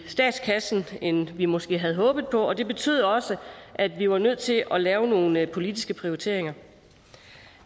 statskassen end vi måske havde håbet på og det betød også at vi var nødt til at lave nogle politiske prioriteringer